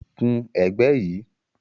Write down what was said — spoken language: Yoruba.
Kun ẹ̀gbẹ́ yìí